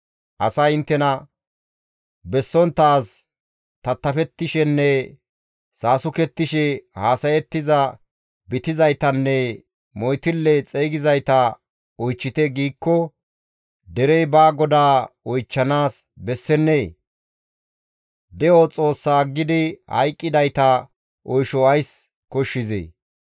Asay inttena, «Bessonttaaz tattafettishenne Saasukettishe haasayettiza bitizaytanne moytille xeygizayta oychchite» giikko derey ba GODAA oychchanaas bessennee? De7o Xoossaa aggidi hayqqidayta oysho ays koshshizee?